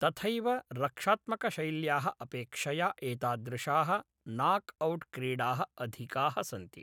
तथैव, रक्षात्मकशैल्याः अपेक्षया एतादृशाः नाक् औट् क्रीडाः अधिकाः सन्ति।